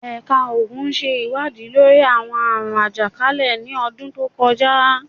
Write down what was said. Ẹka Oogun ṣe iwadii lori awọn aarun ajakalẹ ni ọdun to kọja